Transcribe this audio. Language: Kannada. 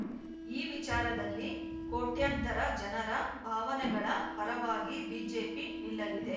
ಈ ವಿಚಾರದಲ್ಲಿ ಕೋಟ್ಯಂತರ ಜನರ ಭಾವನೆಗಳ ಪರವಾಗಿ ಬಿಜೆಪಿ ನಿಲ್ಲಲಿದೆ